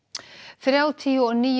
þrjátíu og níu